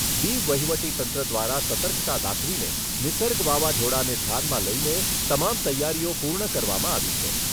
દીવ વહીવટીતંત્ર દ્વારા સર્તકતા દાખવીને નિસર્ગ વાવાઝોડાને ધ્યાનમાં લઈને તમામ તૈયારીઓ પૂર્ણ કરવામાં આવી છે.